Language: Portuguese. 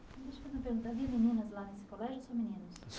Deixa eu perguntar havia meninas lá nesse colégio ou só meninos?